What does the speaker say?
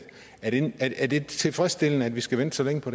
er det tilfredsstillende at vi skal vente så længe på